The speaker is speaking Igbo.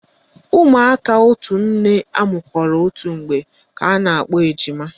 Ụmụaka otu nne amụkọrọ otu mgbe ka a na-akpọ ejima